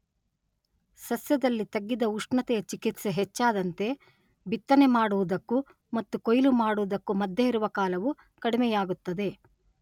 ಸಸ್ಯದಲ್ಲಿ ತಗ್ಗಿದ ಉಷ್ಣತೆಯ ಚಿಕಿತ್ಸೆ ಹೆಚ್ಚಾದಂತೆ ಬಿತ್ತನೆ ಮಾಡುವುದಕ್ಕೂ ಮತ್ತು ಕೊಯಿಲು ಮಾಡುವುದಕ್ಕೂ ಮಧ್ಯೆ ಇರುವ ಕಾಲವು ಕಡಿಮೆಯಾಗುತ್ತದೆ.